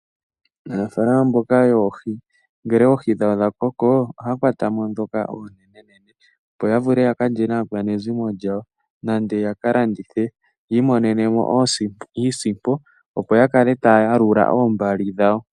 Aanafalama mboka yoohi ngele oohi dhawo dha koko, ohaya kwatamo dhoka oonenenene, opo ya vule ya ka lye naakwanezimo yawo. Nenge ya ka landithe ya imonenemo iisimpo, opo ya kale taya yalula oombali dhawo.